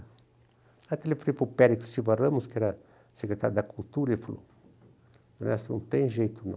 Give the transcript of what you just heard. Aí eu falei para o Pérez Silva Ramos, que era secretário da Cultura, ele falou, Ernesto, não tem jeito, não.